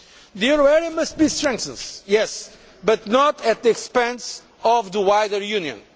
The euro area must be strengthened, yes, but not at the expense of the wider Union.